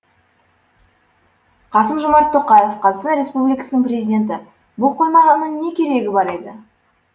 қасым жомарт тоқаев қазақстан республикасының президенті бұл қойманың не керегі бар еді